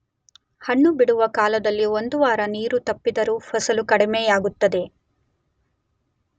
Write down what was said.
ಹಣ್ಣು ಬಿಡುವ ಕಾಲದಲ್ಲಿ ಒಂದು ವಾರ ನೀರು ತಪ್ಪಿದರೂ ಫಸಲು ಕಡಿಮೆಯಾಗುತ್ತದೆ.